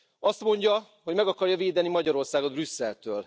Azt mondja, hogy meg akarja védeni Magyarországot Brüsszeltől.